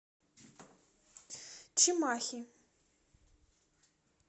чимахи